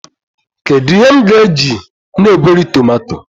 Kedu ihe m ga-eji na-egweri tomato?